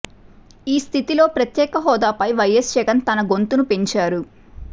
ఈ స్థితిలో ప్రత్యేక హోదాపై వైఎస్ జగన్ తన గొంతును పెంచారు